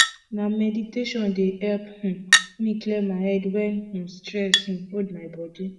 na meditation dey help um me clear my head wen um stress um hold my body